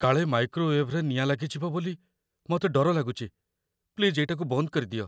କାଳେ ମାଇକ୍ରୋୱେଭ୍‌ରେ ନିଆଁ ଲାଗିଯିବ ବୋଲି ମତେ ଡର ଲାଗୁଚି । ପ୍ଲିଜ୍ ଏଇଟାକୁ ବନ୍ଦ କରିଦିଅ ।